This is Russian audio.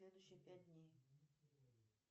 следующие пять дней